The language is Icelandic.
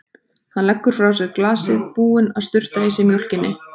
Hann leggur frá sér glasið, búinn að sturta í sig mjólkinni.